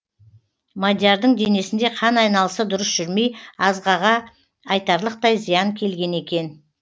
мадиярдың денесінде қан айналысы дұрыс жүрмей азғаға айтарлықтай зиян келген екен